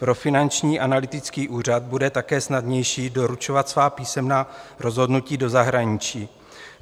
Pro Finanční analytický úřad bude také snadnější doručovat svá písemná rozhodnutí do zahraničí.